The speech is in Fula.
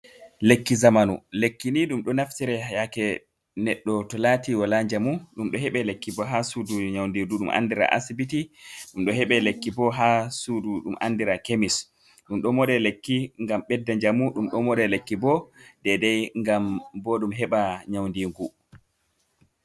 Lekki zamanu lekki ni, ɗum do naftira yake neɗdo to lati wala jamu ɗum do heɓe lekki bo ha sudu nyaundigu ɗum andira asibiti ɗum do heɓe lekki bo ha sudu ɗum andira kemis ɗum do mode lekki ngam ɓedda jamu ɗum domode lekki bo dedai ngam bo ɗum heɓa nyaundingu.